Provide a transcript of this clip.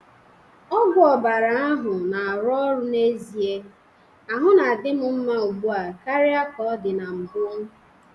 Ọgwụ ọbara ahụ na-arụ ọrụ n'ezie, ahụ na-adị m mma ugbu a karịa ka ọ dị na mbụ